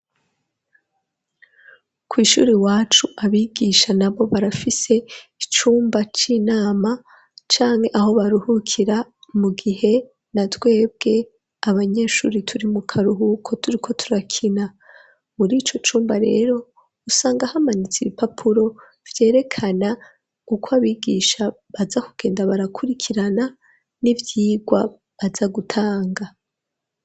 Kw'ishuri iwacu abigisha nabo barafise icumba c'inama canke aho baruhukira mu gihe na twebwe abanyeshuri turi mu karuhuko turiko turakina, muri ico cumba rero usanga hamanitse ibipapuro vyerekana uko abigisha baza kugenda barakurikirana n'ivyigwa baja gutanga.